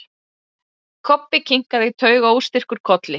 Kobbi kinkaði taugaóstyrkur kolli.